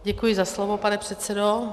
Děkuji za slovo, pane předsedo.